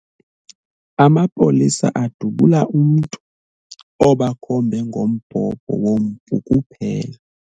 Amapolisa adubula umntu obakhombe ngombhobho wompu kuphela.